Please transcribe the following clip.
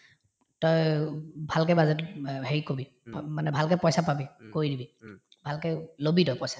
তই উব উব ভালকে budget অ হেৰি কৰিবি মানে ভালকে পইচা পাবি কৰি দিবি ভালকে লবি তই পইচা